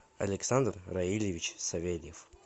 александр равильевич савельев